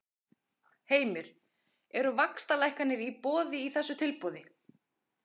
Heimir: Eru vaxtalækkanir í boði í þessu tilboði?